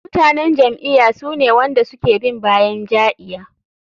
Mutanen jam'iya sune wanda suke bin bayan ja'iya.